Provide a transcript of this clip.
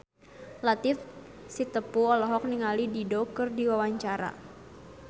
Latief Sitepu olohok ningali Dido keur diwawancara